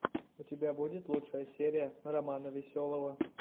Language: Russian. у тебя будет лучшая серия романа веселого